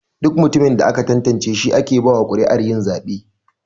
Duk mutumin da aka tantance shi ake bawa kuri'ar yin zabe.